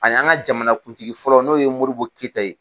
A n'an ka jamanakuntigi fɔlɔ n'o ye Modibo Keyita ye